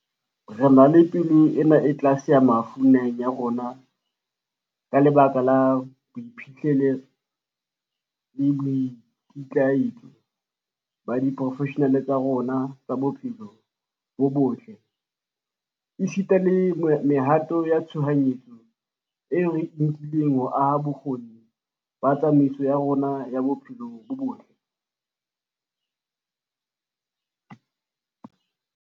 Re na le palo ena e tlase ya mafu naheng ya rona ka lebaka la boiphihlelo le boikitlaetso ba diporofeshenale tsa rona tsa bophelo bo botle, esita le mehato ya tshohanyetso eo re e nkileng ho aha bokgoni ba tsamaiso ya rona ya bophelo bo botle.